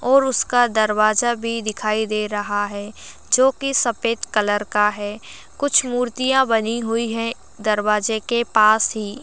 और उसका दरवाजा भी दिखाई दे रहा है जोकि सफेद कलर का है कुछ मुर्तिया बनी हुई है दरवाजे के पास ही --